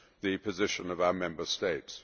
the position of our Member States.